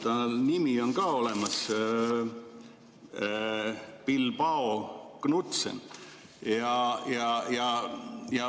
Tal on nimi ka: Bilbao Knutsen.